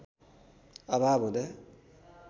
अभाव हुँदा